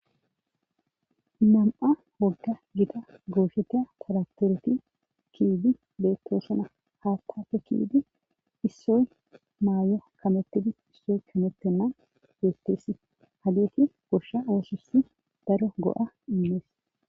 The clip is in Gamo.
Uam7a wogga gita goosheteya poratoreti kiidi beettosona haattafe kiidi issoy maayo kamettidi issoy kamettenna beetteesi ha geeti goshsha oososi daro go7a inmees